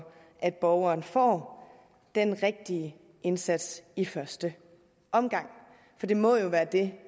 at borgerne får den rigtige indsats i første omgang for det må jo være det